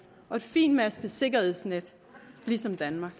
og et fintmasket sikkerhedsnet ligesom danmark